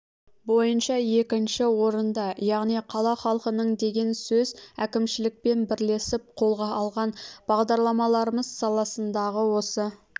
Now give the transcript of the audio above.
бойынша екінші орында яғни қала халқының деген сөз әкімшілікпен бірлесіп қолға алған бағдарламаларымыз саласындағы осы